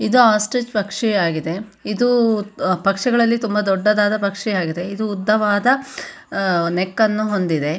ಇದು ಆಸ್ಟ್ರಿಚ್ ಪಕ್ಷಿ ಆಗಿದೆ ಇದು ಪಕ್ಷಿಗಳಲ್ಲಿ ತುಂಬಾ ದೊಡ್ಡದಾದ ಪಕ್ಷಿ ಆಗಿದೆ ಇದು ಉದ್ದವಾದ ಅಹ್ ನೆಕ್ಕ್ ಅನ್ನು ಹೊಂದಿದೆ.